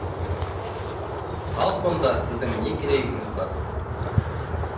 ал сонда сіздің не керегіңіз бар